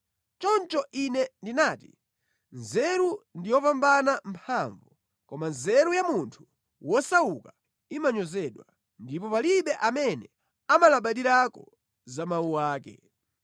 Choncho ine ndinati, “Nzeru ndi yopambana mphamvu.” Koma nzeru ya munthu wosauka imanyozedwa, ndipo palibe amene amalabadirako za mawu ake.